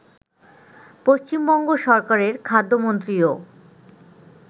পশ্চিমবঙ্গ সরকারের খাদ্যমন্ত্রীও